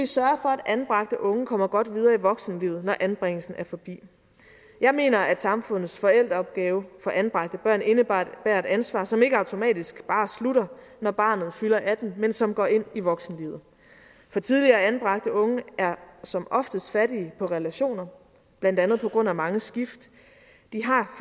sørge for at anbragte unge kommer godt videre i voksenlivet når anbringelsen er forbi jeg mener at samfundets forældreopgave for anbragte børn indebærer et ansvar som ikke automatisk bare slutter når barnet fylder atten år men som går ind i voksenlivet for tidligere anbragte unge er som oftest fattige på relationer blandt andet på grund af mange skift